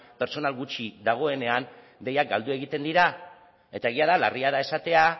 pertsonal gutxi dagoenean deiak galdu egiten dira eta egia da larria da esatea